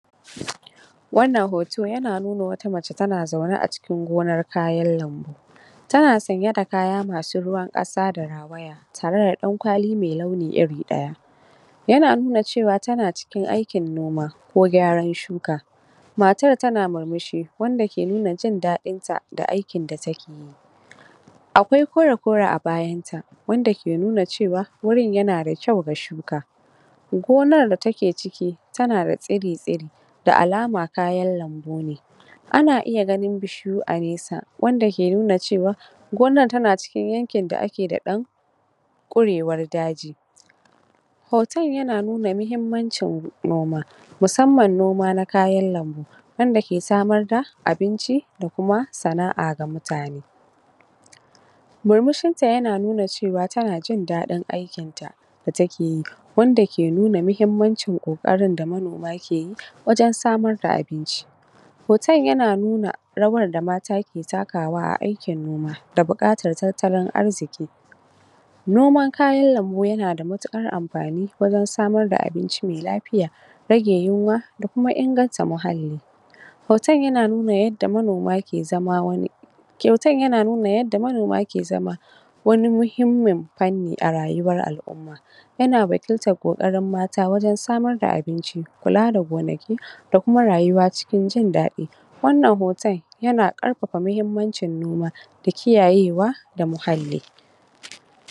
wannan hoto yana nuna wata mace tana zaune aci kin gonar kayan lambu tana sanye da kaya masu ruwan ƙasa da rawaya tare da ɗan kwali me launi iri ɗaya yana nuna cewa tana cikin aikin noma ko gyaran shuka matar tana murmushi wanda ke nuna jin daɗinta da aikin da take akwai kore kore abayanta wanda ke nuna cewan rurin na da kyau da shuka gonar da take ciki tanada tsiri tsiri da alama kayan lambu ne ana iya gani bishiyu a nesa wanda ke nuna cewan gonar tana cikin yankin da ake da ɗan ƙurewar daji hoton yana nuna mahimmancin noma musamman noma na kayan lambu wanda ke samarda abinci da kuma sana a ga mutane murmushinta yana nuna cewan tanajin daɗin aikinta da takeyi wanda ke nuna mahimmancin koƙarin da manoma keyi wajan samar da abinci hoton yana nuna rawa da mata ke takawa a aikin noma da buaƙatar tattalin arziki noman kayan lambu yanada matuƙar amfani wajan samar da abinci me lafiya rage yinwa da kuma inganta muhalli hoton yan nuna yadda monoma ke zama wani kyautan yana nuna yanda manoma ke zama wani mahimmin fannin arayuwan al'umma yana wakiltan ƙokarin mata wajan samar da abinci kula da gonaki da kuma rayuwa cikin jin daɗi wannan hotan yana ƙarfafa mahimmancin noma da ki yayewa da muhalli